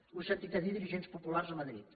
ho he sentit a dir a dirigents populars a madrid